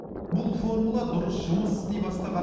бұл формула дұрыс жұмыс істей бастаған